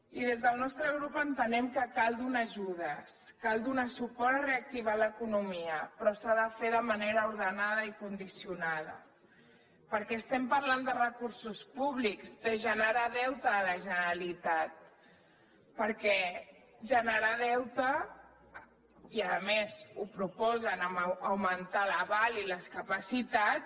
i des del nostre grup entenem que cal donar ajudes cal donar suport a reactivar l’economia però s’ha de fer de manera ordenada i condicionada perquè estem parlant de recursos públics de generar deute a la generalitat perquè generar deute i a més proposen augmentar l’aval i les capacitats